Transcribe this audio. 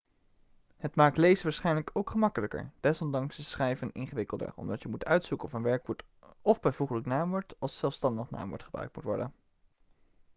het maakt lezen waarschijnlijk ook gemakkelijker desondanks is schrijven ingewikkelder omdat je moet uitzoeken of een werkwoord of bijvoeglijk naamwoord als zelfstandig naamwoord gebruikt moet worden